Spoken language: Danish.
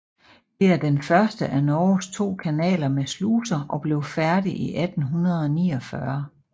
Det er den første af Norges to kanaler med sluser og blev færdig i 1849